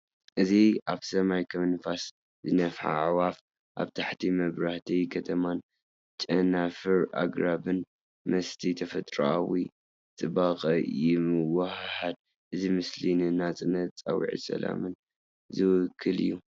እዚ ኣብ ሰማይ ከም ንፋስ ዝነፍሓ ኣዕዋፍ፤ ኣብ ታሕቲ፡ መብራህቲ ከተማን ጨናፍር ኣግራብን ምስቲ ተፈጥሮኣዊ ጽባቐ ይወሃሃድ። እዚ ምስሊ ንናጽነትን ጻውዒት ሰላምን ዝውክል እዩ።